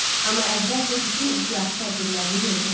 Amma əvvəlcə bütün ehtiyatı tədbirlərini gördü.